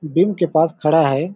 बिन के पास खड़ा हैं ।